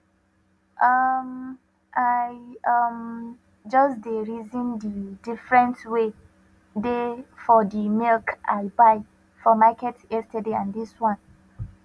um i um just dey reason de different wey dey for de milk i buy for market yesterday and this one